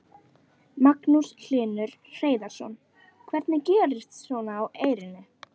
Magnús Hlynur Hreiðarsson: Hvernig gerist svona á Eyrinni?